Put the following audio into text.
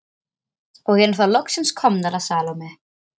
Og erum þá loksins komnar að Salóme.